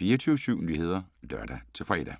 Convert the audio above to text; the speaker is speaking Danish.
24syv Nyheder (lør-fre)